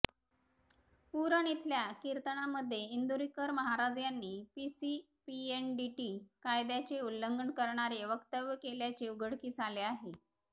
उरण इथल्या कीर्तनामध्ये इंदुरीकर महाराज यांनी पीसीपीएनडीटी कायद्याचे उल्लंघन करणारे वक्तव्य केल्याचे उघडकीस आले आहे